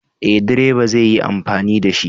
Eh, direba zai yi amfani da shi.